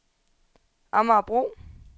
Amagerbro